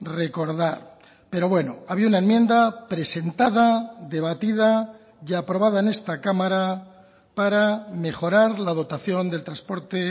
recordar pero bueno había una enmienda presentada debatida y aprobada en esta cámara para mejorar la dotación del transporte